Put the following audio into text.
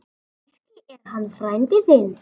Kannski er hann frændi þinn.